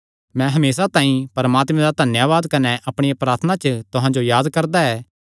मैं हमेसा तुहां तांई परमात्मे दा धन्यावाद कने अपणिया प्रार्थना च तुहां जो याद करदा ऐ